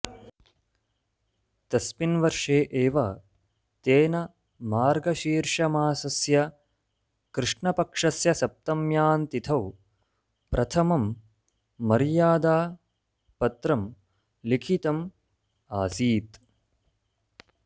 तस्मिन् वर्षे एव तेन मार्गशीर्षमासस्य कृष्णपक्षस्य सप्तम्यां तिथौ प्रथमं मर्यादापत्रं लिखितम् आसीत्